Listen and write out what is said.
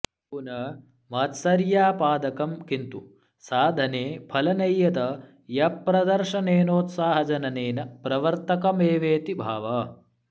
तु न मात्सर्यापादकं किन्तु साधने फलनैयत्यप्रदर्शनेनोत्साहजननेन प्रवर्तकमेवेति भावः